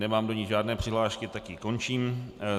Nemám do ní žádné přihlášky, tak ji končím.